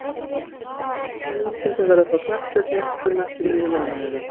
Hann mun að öllum líkindum vera frá knattspyrnuiðkun næstu níu mánuðina.